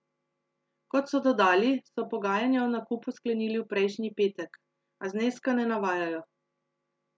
Kot so dodali, so pogajanja o nakupu sklenili v prejšnji petek, a zneska ne navajajo.